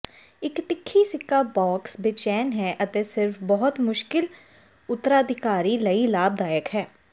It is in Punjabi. ਇੱਕ ਤਿੱਖੀ ਸਿੱਕਾ ਬੌਕਸ ਬੇਚੈਨ ਹੈ ਅਤੇ ਸਿਰਫ ਬਹੁਤ ਮੁਸ਼ਕਿਲ ਉਤਰਾਧਿਕਾਰੀਆਂ ਲਈ ਲਾਭਦਾਇਕ ਹੈ